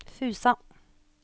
Fusa